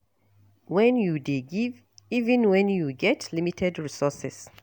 When you dey give even when you get limited resources